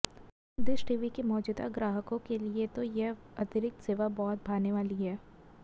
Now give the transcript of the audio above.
dish TV के मौजूदा ग्राहकों के लिए तो यह अतिरिक्त सेवा बहुत भाने वाली है